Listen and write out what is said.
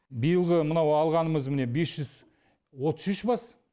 биылғы мынау алғанымыз міне бес жүз отыз үш бас